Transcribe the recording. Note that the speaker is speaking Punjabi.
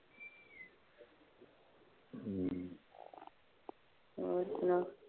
ਹੋਰ ਸੁਣਾ।